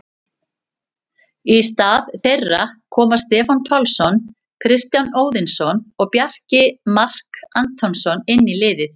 Í stað þeirra koma Stefán Pálsson, Kristján Óðinsson og Bjarni Mark Antonsson inn í liðið.